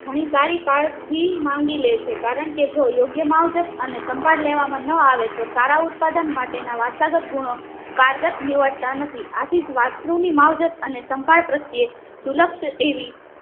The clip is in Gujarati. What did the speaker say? ઘણી સારી કાળજી માંગીલે છે કારણકે જો યોગ્ય મવહજાત કે સંભાળ લેવા માં ન આવે તો સારા ઉત્પાદન માટે ના વારસાગત ગુણો કારગત નીવડતા નથી આથીજ વાસ્ત્રુ ની માવજત અને સંભાળ પ્રત્યેદુલક્ષ એવી